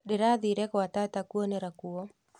Ndĩrathire gwa tata kũonera kuo